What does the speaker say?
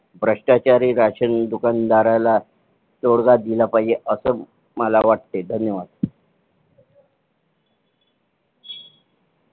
भ्रष्टाचारी राशन दुकानदाराला तोडगा दिला पाहिजे असे मला वाटते धन्यवाद.